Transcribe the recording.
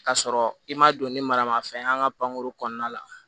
K'a sɔrɔ i ma don ni maramafɛn ye an ka pankuru kɔnɔna la